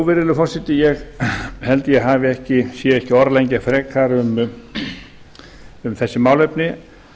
virðulegur forseti ég held ég sé ekki að orðlengja frekar um þessi málefni